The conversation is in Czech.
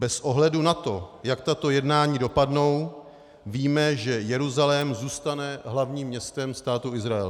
Bez ohledu na to, jak tato jednání dopadnou, víme, že Jeruzalém zůstane hlavním městem Státu Izrael.